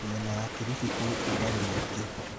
Mĩena ya Kilifi kwĩ rũgarĩ mũingĩ.